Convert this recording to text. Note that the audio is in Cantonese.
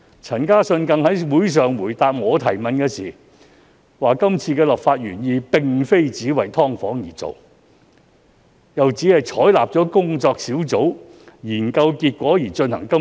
陳嘉信於會上回答我的提問時，更說是次修例原意並非只為"劏房"而做，又指當局採納了工作小組研究結果而進行修例。